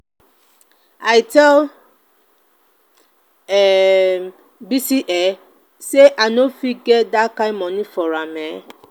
i tell um bisi um say i no go fit get dat kin money for her um.